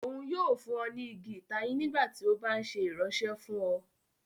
Òun yóò fún ọ ni igi itayin nígbàtí o ba nṣe iranṣẹ fun ọ